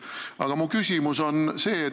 Aga mu küsimus on niisugune.